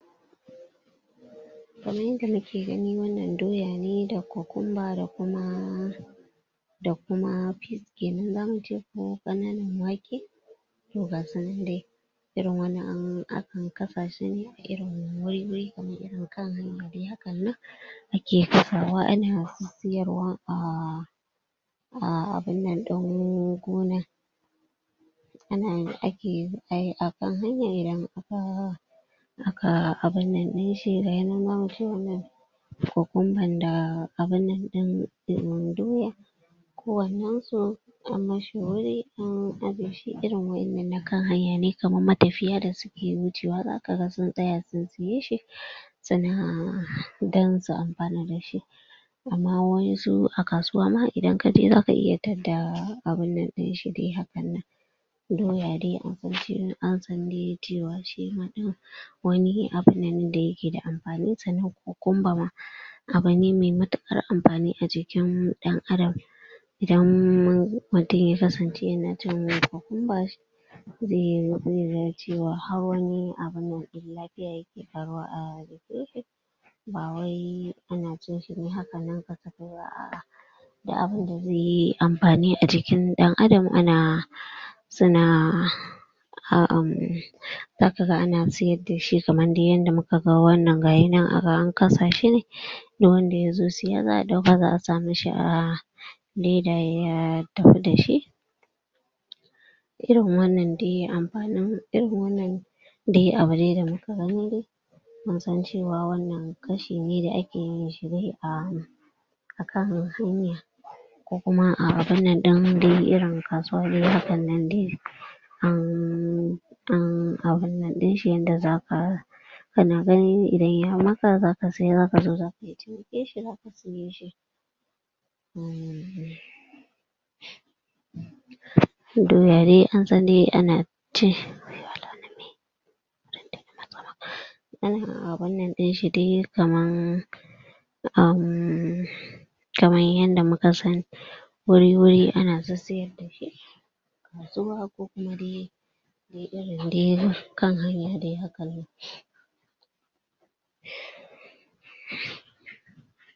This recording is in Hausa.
Kaman yadda muke gani wannan doya ne kukumba da kuma da kuma pea kenan zamu ce ko ƙananan wake, to ga su nan dai. Irin wannan an akan kasa shi ne irin wuri wuri kaman irin kan hanya dai hakan nan ake kasawa ana siyarwa um abun nan ɗin gonar. Ana ake ai akan hanya idan ka aka abun nan ɗin shi ga ya nan zamu ce wannan kokumban da abun nan ɗin um doya kowannen su an mishi wuri an aje irin waƴannan na kan hanya ne kaman matafiya da su wucewa za ka ga sun tsaya sun siye shi. Sannan um don su amfana da shi. Amma waƴansu a kasuwa ma a inkaje za ka iya tadda abun nan ɗin shi dai hakan doya dai an san an sa dai shi ma ɗin wani abun nan da ya ke da amfani sannan kokumba ma abu ne mai matuƙar amfani a jikin ɗan-adam. Idan mun mutum ya kasance ya na cin kokumba zai zai zan cewa har wani abun nan zai ke ƙaruwa a jikin shi ba wai ana cin shi ne hakan nan za'a duk abunda zai yi amfani a jikin ɗan-adam ana su na um za ka ga ana sayadda shi kaman dai yanda muka ga wannan gaya nan a ga an kasa ne duk wanda ya zo siya za'a ɗauka a sa mishi a leda ya tafi da shi. Irin wannan dai amfani irin wannan dai abu dai da muka gani dai mun san cewa wannan kashi ne da ake yi akan hanya ko kuma abun nan ɗin dai irin kasuwa dai hakan nan dai an um abun nan ɗin shi yanda za ka ka na gani idan ya maka za ka siya za ka zo za Doya dai san dai ana cin ana abun nan ɗin shi dai kaman um kaman yanda muka sani wuri wuri ana sissiyar zuwa ko kuma dai irin dai kan hanya dai hakan nan